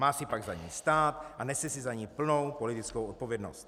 Má si pak za ním stát a nese si za ni plnou politickou odpovědnost.